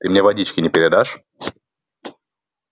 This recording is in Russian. ты мне водички не передашь